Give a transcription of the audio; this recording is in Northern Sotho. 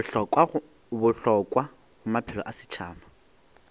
bohlokwa go maphelo a setšhaba